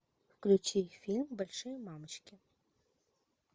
включи фильм большие мамочки